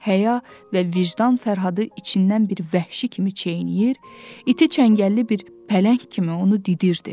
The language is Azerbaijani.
Həya və vicdan Fərhadı içindən bir vəhşi kimi çeynəyir, iti çəngəlli bir pələng kimi onu didirdi.